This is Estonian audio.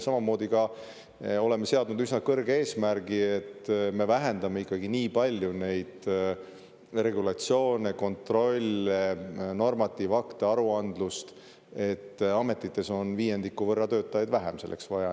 Samamoodi ka oleme seadnud üsna kõrge eesmärgi, et me vähendame ikkagi nii palju neid regulatsioone, kontroll-, normatiivakte, aruandlust, et ametites on viiendiku võrra töötajaid vähem selleks vaja.